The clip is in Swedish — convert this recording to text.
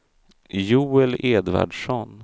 Joel Edvardsson